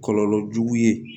Kɔlɔlɔ jugu ye